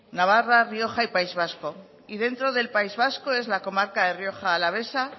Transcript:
navarra rioja y país vasco y dentro del país vasco es la comarca de rioja alavesa